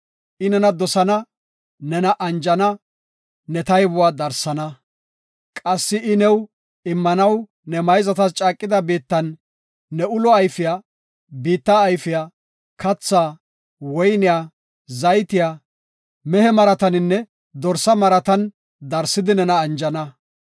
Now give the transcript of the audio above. I nena dosana; nena anjana; ne taybuwa darsana. Qassi I new immanaw ne mayzatas caaqida biittan ne ulo ayfiya, biitta ayfiya; kathaa, woyniya, zaytiya, mehe maratanne dorsa marata darsidi nena anjana.